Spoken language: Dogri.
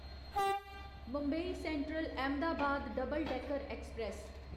Mumbai Central Ahmedabad Double Decker express